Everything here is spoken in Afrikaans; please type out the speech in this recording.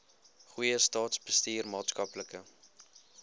goeie staatsbestuur maatskaplike